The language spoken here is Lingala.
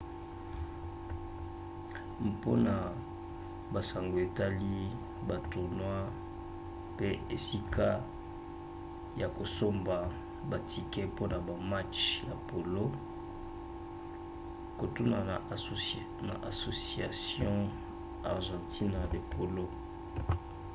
mpona basango etali batournois mpe esika ya kosomba batike mpona bamatch ya polo kotuna na asociacion argentina de polo